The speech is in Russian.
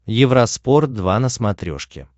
евроспорт два на смотрешке